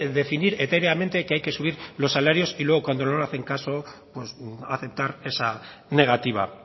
definir etéreamente que hay que subir los salarios y luego cuando no le hacen caso aceptar esa negativa